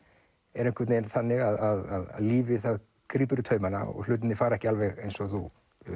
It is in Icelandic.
er einhvern veginn þannig að lífið það grípur í taumana og hlutirnir fara ekki alveg eins og þú